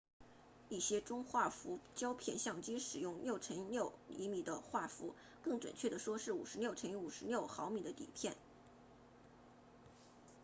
一些中画幅胶片相机使用 6x6cm 的画幅更准确地说是 56x56mm 的底片